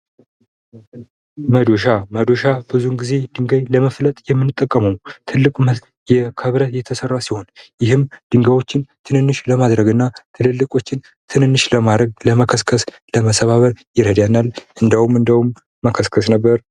መዶሻ መዶሻ ብዙውን ጊዜ ድንጋይ ለመፍለጥ የምንጠቀመው ትልቅ መሳሪያ ከብረት የተሰራ ሲሆን ይህም ድንጋዮችን ትንንሽ ለማድረግና ትልልቆቹን ትንንሽ ለማድረግ ለመከስከስ ለመሰባበር ይረዳናል። እንደውም እንደውም መከስከስ ነበር።